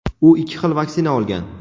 u ikki xil vaksina olgan.